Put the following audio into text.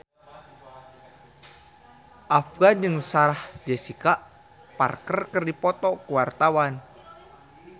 Afgan jeung Sarah Jessica Parker keur dipoto ku wartawan